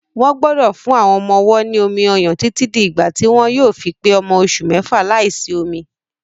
Wọ́n gbọ́dọ̀ fún àwọn ọmọ-ọwọ́ ní omi-ọyàn títí di ìgbà tí wọ́n yóò fi pé ọmọ oṣù mẹ́fà láìsí omi.